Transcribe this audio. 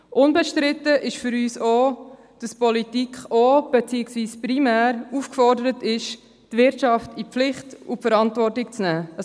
Unbestritten ist für uns auch, dass die Politik auch beziehungsweise primär aufgefordert ist, die Wirtschaft in die Pflicht und Verantwortung zu nehmen.